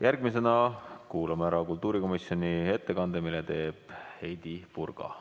Järgmisena kuulame ära kultuurikomisjoni ettekande, mille teeb Heidy Purga.